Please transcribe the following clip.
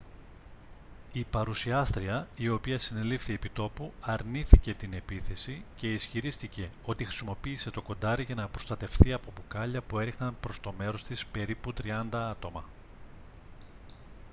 η παρουσιάστρια η οποία συνελήφθη επί τόπου αρνήθηκε την επίθεση και ισχυρίστηκε ότι χρησιμοποίησε το κοντάρι για να προστατευθεί από μπουκάλια που έριχναν προς το μέρος της περίπου τριάντα άτομα